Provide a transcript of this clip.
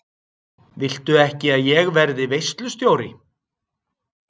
Viltu ekki að ég verði veislustjóri?